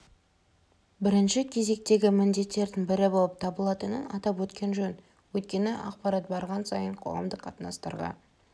бірінші кезектегі міндеттерінің бірі болып табылатынын атап өткен жөн өйткені ақпарат барған сайын қоғамдық қатынастарға